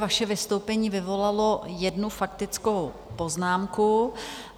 Vaše vystoupení vyvolalo jednu faktickou poznámku.